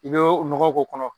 I bɛ o nɔgɔ k'o kɔnɔ.